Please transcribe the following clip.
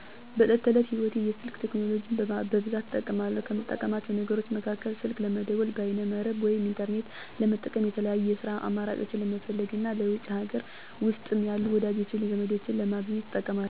በዕለት ተዕለት ህይወቴ የስልክ ቴክኖሎጂን በብዛት እጠቀማለሁ። ከምጠቀማቸው ነገሮች መካከል፦ ስልክ ለመደወል፣ በይነ-መረብ (ኢንተርኔት) ለመጠቀም፣ የተለያዩ የስራ አማራጮችን ለመፈለግ እና ለውጪም ሀገር ውስጥም ያሉ ወዳጅ ዘመዶቼን ለማግኘት እንጠቀማለሁ።